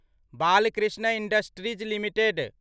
Balkrishna industries limited